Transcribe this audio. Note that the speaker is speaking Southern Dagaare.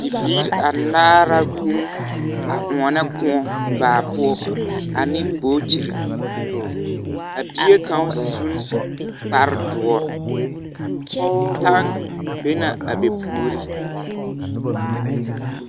Biiri anaare la guuun a oɔnɔ kõɔ baa poɔ ane bootiri. A bie kaŋ sun kparedoɔr. Tann be na a be puori.